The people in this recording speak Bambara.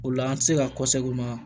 O la an tɛ se ka